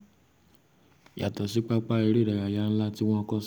yàtọ̀ sí pápá eré ìdárayá nlá tí wọ́n kọ́ sí